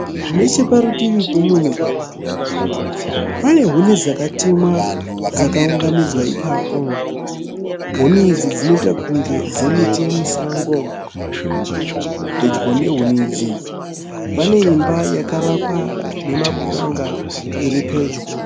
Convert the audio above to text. Necheparutivi pemumwe mugwagwa, uye huni dzakatemwa dzakaunganidzwa apapo. Huni idzi dzinoita kunge dzemiti yemusango. Pedyo nehuni idzi paneimba yakavakwa nemapuranga iripedyo.